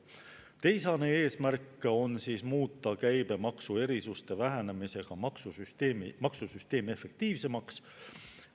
Teisene eesmärk on muuta käibemaksuerisuste vähenemise kaudu maksusüsteemi efektiivsemaks.